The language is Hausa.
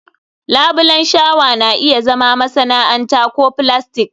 labulen shawa na iya zama masana'anta ko filastik